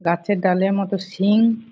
গাছের ডালের মতো শিং।